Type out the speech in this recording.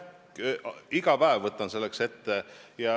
Ma võtan iga päev selleks midagi ette.